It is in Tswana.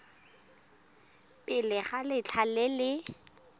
pele ga letlha le le